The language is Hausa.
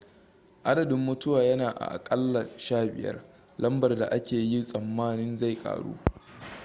adadin mutuwa yana a aƙalla 15 lambar da ake yi tsammanin zai ƙaru